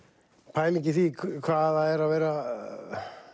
pæling í því hvað það er að vera